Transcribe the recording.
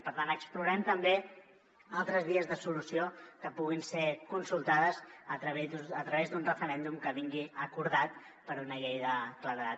per tant explorem també altres vies de solució que puguin ser consultades a través d’un referèndum que vingui acordat per una llei de claredat